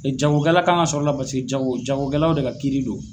Jagokɛla kan ka sɔrɔ la basike jago jagokɛlaw de ka kiiri do.